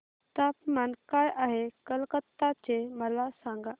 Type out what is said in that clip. तापमान काय आहे कलकत्ता चे मला सांगा